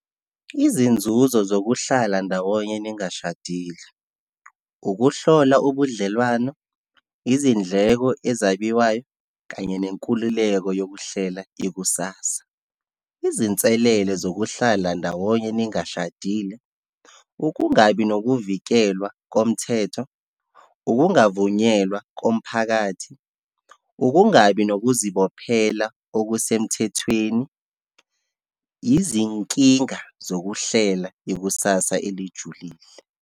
Izinzuzo zokuhlala ndawonye ningashadile, ukuhlola ubudlelwano, izindleko ezabiwayo, kanye lenkululeko yokuhlela ikusasa. Izinselele zokuhlala ndawonye ningashadile, ukungabi nokuvikelwa komthetho, ukungavunyelwa komphakathi, ukungabi nokuzibophela okusemthethweni, izinkinga zokuhlela ikusasa elijulile.